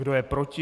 Kdo je proti?